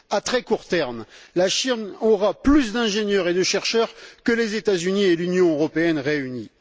À très court terme, la Chine aura plus d'ingénieurs et de chercheurs que les États Unis et l'Union européenne réunis.